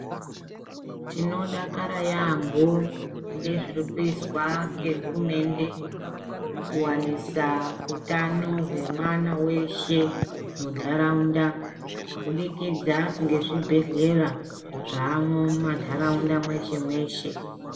Tinodakara yambo kune zvirikuizwa ngehurumende kuwanisa utano hwemwana weshe muntaraunda kubudikidza ngezvibhedhleya zvaamwo mumantaraunda mweshe mweshe.